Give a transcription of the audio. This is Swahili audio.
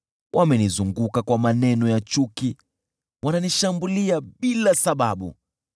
Wamenizunguka kwa maneno ya chuki, wananishambulia bila sababu.